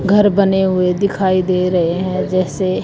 घर बने हुए दिखाई दे रहे हैं जैसे--